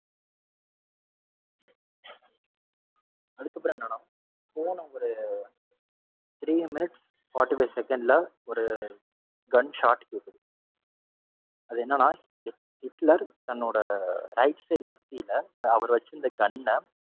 அதுக்கப்பறம் என்னன்னா போன ஒரு three minutes forty-five second ல ஒரு gun shot கேக்குது. அது என்னனா ஹிட்லர் தன்னோட right side நெத்தியில அவர் வச்சிருந்த gun அ.